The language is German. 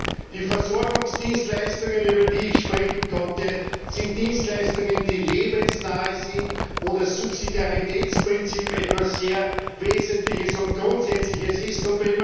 Gerade die Versorgungsdienstleistungen, über die ich sprechen konnte, sind Dienstleistungen, die lebensnahe sind, wo das Subsidiaritätsprinzip etwas sehr Wesentliches und Grundsätzliches ist.